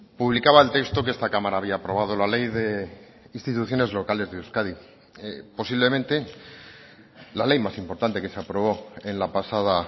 publicaba el texto que esta cámara había aprobado la ley de instituciones locales de euskadi posiblemente la ley más importante que se aprobó en la pasada